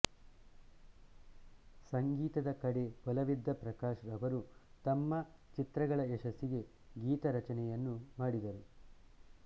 ಸಂಗೀತದ ಕಡೆ ಒಲವಿದ್ದ ಪ್ರಕಾಶ್ ರವರು ತಮ್ಮ ಚಿತ್ರಗಳ ಯಶಸ್ಸಿಗೆ ಗೀತರಚನೆಯನ್ನು ಮಾಡಿದರು